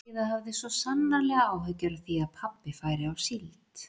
Heiða hafði svo sannarlega áhyggjur af því að pabbi færi á síld.